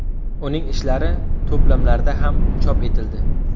Uning ishlari to‘plamlarda ham chop etildi.